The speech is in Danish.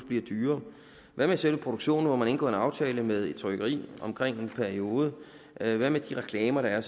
bliver dyrere hvad med selve produktionen hvor man har indgået en aftale med et trykkeri for en periode hvad hvad med de reklamer der er